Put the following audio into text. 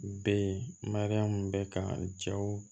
Be yen mariyamu bɛ kan cɛw